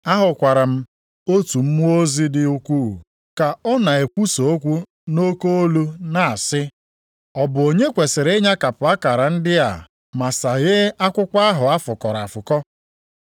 Ahụkwara m otu mmụọ ozi dị ukwuu, ka ọ na-ekwusa okwu nʼoke olu na-asị, “Ọ bụ onye kwesiri ịnyakapụ akara ndị a ma saghee akwụkwọ ahụ a fụkọrọ afụkọ?”